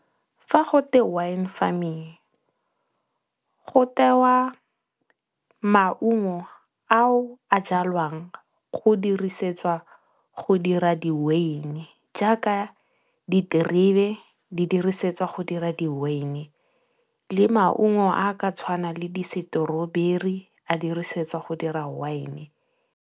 Fa go twe wine farming, go tewa maungo ao a jalwang go dirisetswa go dira di-wyn-e jaaka diterebe di dirisetswa go dira di-wyn-e le maungo a ka tshwanang le disetoroberi a dirisetswa go dira wine.